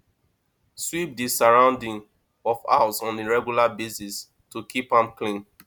sweep di surrounding of house on a regular basis to keep am clean